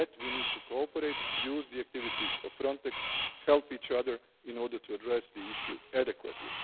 On that, we need to cooperate, use the activities of Frontex and help each other in order to address the issue adequately.